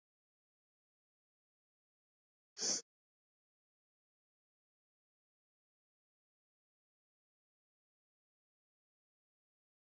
Tildrög slyss óljós